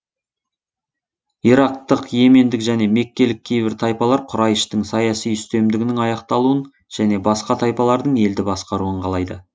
ирактық йемендік және меккелік кейбір тайпалар құрайыштың саяси үстемдігінің аяқталуын және басқа тайпалардың елді басқаруын қалайды